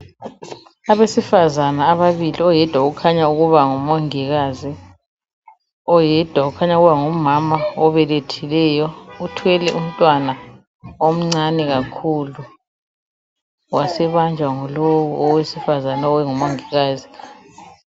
Abesifazana ababili oyedwa ukhanya ukuba ngumongikazi ,oyedwa ukhanya ukuba ngumama obelethileyo uthwele umntwana omncane kakhulu wasebanjwa yilo owesifazana ongumongikazi.